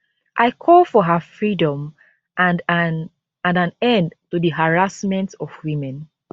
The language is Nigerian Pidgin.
i call for her freedom and an and an end to di harassment of women